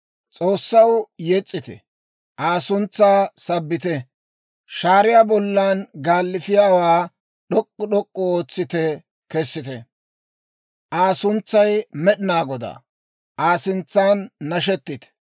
S'oossaw yes's'ite; Aa suntsaa sabbite. Shaariyaa bollan gaalifiyaawaa d'ok'k'u d'ok'k'u ootsite kessite; Aa suntsay Med'inaa Godaa; Aa sintsan nashettite.